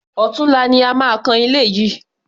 Ọ̀tunla ni a máa kan ilé yìí.